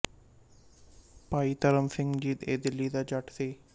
ਭਾਈ ਧਰਮ ਸਿੰਘ ਜੀ ਇਹ ਦਿੱਲੀ ਦਾ ਜੱਟ ਸੀ